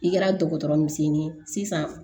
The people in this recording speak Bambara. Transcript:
I kɛra dɔgɔtɔrɔ misɛnnin ye sisan